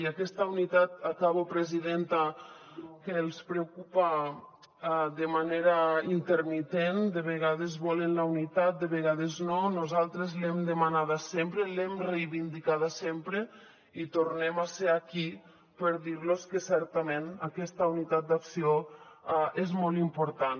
i aquesta unitat acabo presidenta que els preocupa de manera intermitent de vegades volen la unitat de vegades no nosaltres l’hem demanada sempre l’hem reivindicada sempre i tornem a ser aquí per dir los que certament aquesta unitat d’acció és molt important